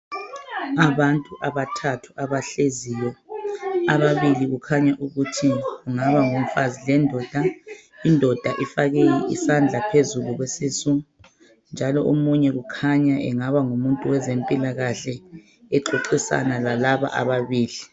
abantu abathathu abahleziyo ababili kukhanya ukuthi kugaba ngumfazi lendoda indoda ifake isandla phezulu kwesisu njalo omunye kukhanya engaba ngumunt wezempilakhle exoxisana lalabo ababili